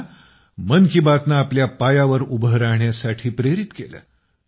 ज्यांना मन की बातनं आपल्या पायावर उभं राहण्यासाठी प्रेरित केलं